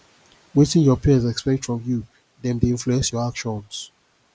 wetin your peers expect from you dem dey influence your actions